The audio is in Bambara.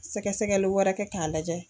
Sɛgɛsɛgɛli wɛrɛ kɛ k'a lajɛ.